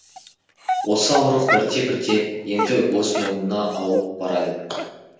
осы ауырлық бірте бірте енді өз мойнына ауып барады